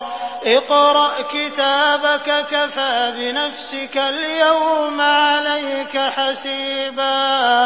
اقْرَأْ كِتَابَكَ كَفَىٰ بِنَفْسِكَ الْيَوْمَ عَلَيْكَ حَسِيبًا